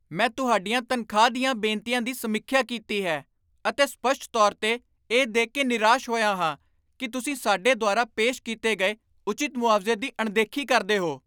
ਮੈਂ ਤੁਹਾਡੀਆਂ ਤਨਖਾਹ ਦੀਆਂ ਬੇਨਤੀਆਂ ਦੀ ਸਮੀਖਿਆ ਕੀਤੀ ਹੈ, ਅਤੇ ਸਪੱਸ਼ਟ ਤੌਰ 'ਤੇ, ਇਹ ਦੇਖ ਕੇ ਨਿਰਾਸ਼ ਹੋਇਆ ਹਾਂ ਕਿ ਤੁਸੀਂ ਸਾਡੇ ਦੁਆਰਾ ਪੇਸ਼ ਕੀਤੇ ਗਏ ਉਚਿਤ ਮੁਆਵਜ਼ੇ ਦੀ ਅਣਦੇਖੀ ਕਰਦੇ ਹੋ।